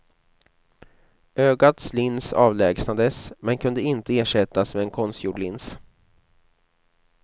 Ögats lins avlägsnades, men kunde inte ersättas med en konstgjord lins.